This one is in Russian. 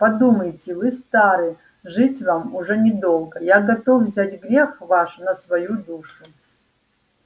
подумайте вы стары жить вам уж недолго я готов взять грех ваш на свою душу